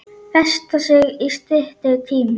Festa sig í styttri tíma.